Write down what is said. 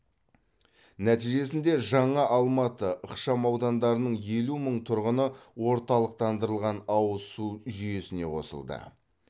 нәтижесінде жаңа алматы ықшамаудандарының елу мың тұрғыны орталықтандырылған ауыз су жүйесіне қосылды